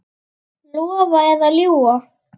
Lofa eða ljúga?